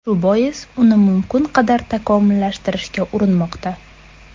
Shu bois uni mumkin qadar takomillashtirishga urinmoqda.